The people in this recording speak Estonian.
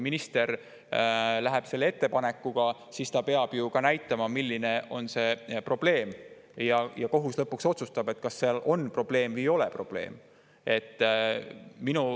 Minister peab ju ka näitama, milline on see probleem, ja kohus lõpuks otsustab, kas seal on probleem või ei ole probleemi.